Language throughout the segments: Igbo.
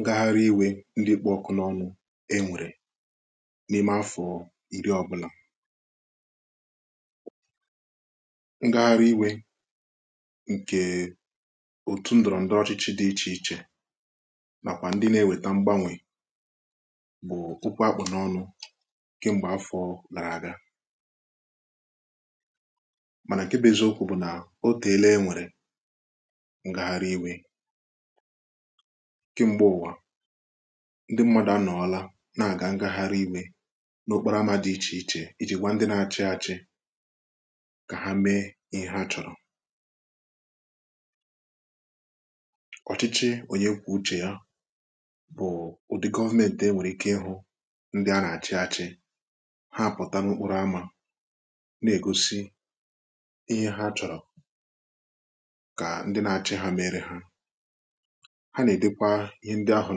ngagharị iwè ndị kpụ ọkụ n’ọnụ e nwèrè n’ime afọ̀ nri ọbụlà kem̀gbe ụ̀wà ndị mmadụ anọọla na-aga ngagharị iwè n’okporo ama dị ichèichè iji gwa ndị na-achị achị ka ha mee ihe ha chọ̀rọ̀ ọ̀chịchị onye kwà uchè ya bụ̀ ụdị gọvmenti enwèrè ike ịhụ ndị a nà-achị achị ha apụta n’okporo amȧ na-egosi ihe ha chọ̀rọ̀ ha nà-èdekwa ihe ndị ahụ̀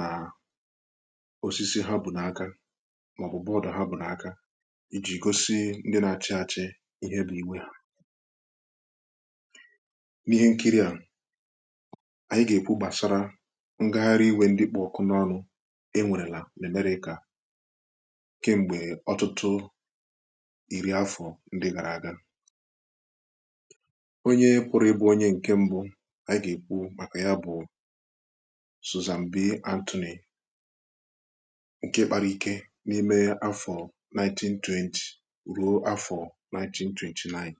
nà osisi ha bù nà aka màọbụ̀ bọọdụ̀ ha bù nà aka iji̇ gosi ndị nà-àchị àchị ihe bụ̇ iwè n’ihe nkiri à ànyị gà-èkwu gbàsara ngagharị iwė ndị kpụ̀ ọkụ n’ọnụ e nwèrèlà nà-èmerè kà kem̀gbè ọtụtụ iri afọ̀ ndị gàrà àga onye kụ̀rụ̀ ịbụ̇ onye ǹkè mbụ̇ sụ zambi antoni ǹke kpara ike n’ime afọ 1920 ruo afọ 1929